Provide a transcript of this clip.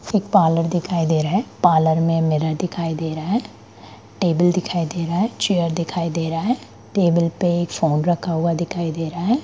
एक पार्लर दिखाई दे रहा है पार्लर मे मिरर दिखाई दे रहा है टेबल दिखाई दे रहा है चेयर दिखाई दे रहा है टेबल पे एक फोन दिखाई दे रहा है।